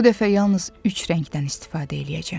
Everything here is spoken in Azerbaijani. Bu dəfə yalnız üç rəngdən istifadə eləyəcəm.